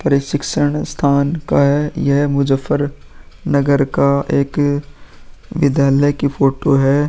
ये शिक्षण स्थान का है। यह मुज़्ज़फरनगर का एक विद्यालय की फोटो है।